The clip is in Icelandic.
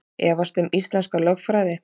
Efast um íslenska lögfræði